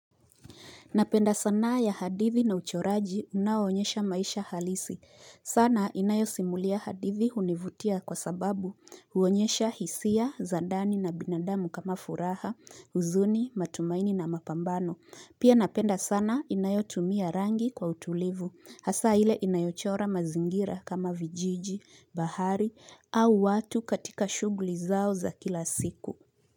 Napenda sanaa ya hadithi na uchoraji unao onyesha maisha halisi. Sana inayo simulia hadithi univutia kwa sababu huonyesha hisia, za ndani na binadamu kama furaha, huzuni, matumaini na mapambano. Pia napenda sana inayo tumia rangi kwa utulivu. Hasa ile inayochora mazingira kama vijiji, bahari au watu katika shughli zao za kila siku.